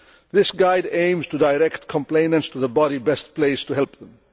This guide aims to direct complainants to the body best placed to help them.